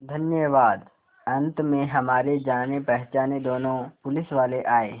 धन्यवाद अंत में हमारे जानेपहचाने दोनों पुलिसवाले आए